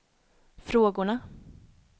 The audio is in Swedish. frågorna